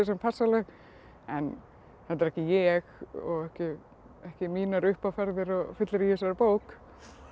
passa alveg en þetta er ekki ég og ekki mínar uppáferðir og fyllerí í þessari bók